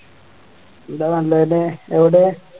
എന്താ നല്ലന്നെ എവിടെയാ